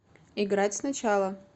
играть сначала